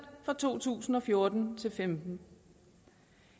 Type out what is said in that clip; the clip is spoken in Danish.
fra to tusind og fjorten til og femten